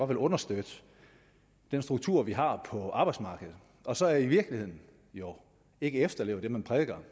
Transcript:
vil understøtte den struktur vi har på arbejdsmarkedet og så i virkeligheden jo ikke efterlever det man prædiker